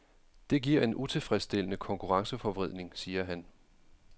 Det giver en utilfredsstillende konkurrenceforvridning, siger han.